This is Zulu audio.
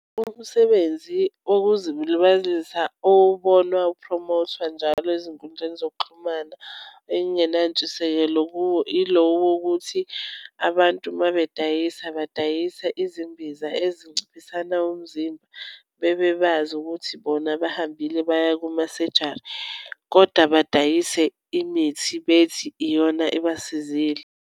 Umsebenzi wokuzilibazisa ubonwa ukuphromothwa njalo ezinkundleni zokuxhumana engenantshisekelo kuwo ilo wokuthi abantu uma bedayisa badayisa izimbiza ezinciphisana umzimba. Bebebazi ukuthi bona bahambile baya kumasejari koda badayise imithi bethi iyona ebasizile.